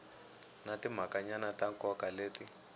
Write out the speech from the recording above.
na timhakanyana ta nkoka leti